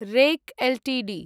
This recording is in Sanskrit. rack Ltd